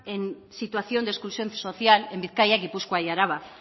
en situación de exclusión social en bizkaia gipuzkoa y araba